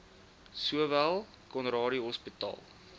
sowel conradie hospitaal